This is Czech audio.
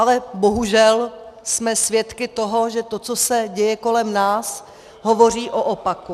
Ale bohužel jsme svědky toho, že to, co se děje kolem nás, hovoří o opaku.